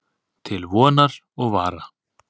Til vonar og vara.